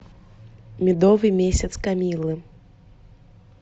медовый месяц камиллы